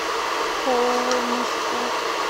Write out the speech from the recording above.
холмску